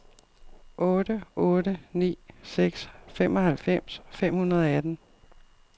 otte otte ni seks femoghalvfems fem hundrede og atten